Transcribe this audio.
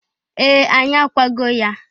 Ee! Anyị akwago ya.